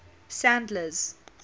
sandler's